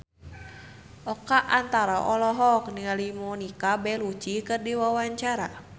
Oka Antara olohok ningali Monica Belluci keur diwawancara